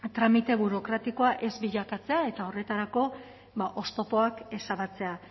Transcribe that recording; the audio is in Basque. tramite burokratikoak ez bilakatzea eta horretarako oztopoak ezabatzea